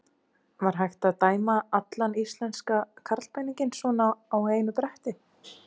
Var hægt að dæma allan íslenska karlpeninginn svona á einu bretti?